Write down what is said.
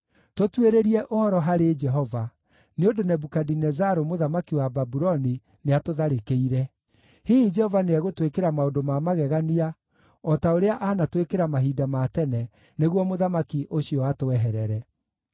“Tũtuĩrĩrie ũhoro harĩ Jehova, nĩ ũndũ Nebukadinezaru, mũthamaki wa Babuloni, nĩatũtharĩkĩire. Hihi Jehova nĩegũtwĩkĩra maũndũ ma magegania o ta ũrĩa anatwĩkĩra mahinda ma tene, nĩguo mũthamaki ũcio atweherere.”